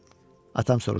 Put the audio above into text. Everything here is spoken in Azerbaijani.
Atam soruşdu.